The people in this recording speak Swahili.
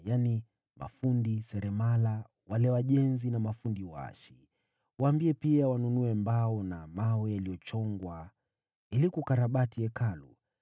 wale maseremala, wajenzi na waashi. Waambie pia wanunue mbao na mawe yaliyochongwa ili kukarabati Hekalu.